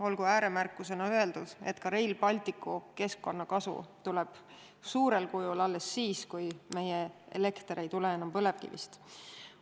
Olgu ääremärkusena öeldud, et ka Rail Balticu keskkonnakasu tuleb suurel määral alles siis, kui meie elekter ei tule enam põlevkivist.